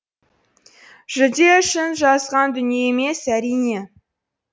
жүлде үшін жазған дүние емес әрине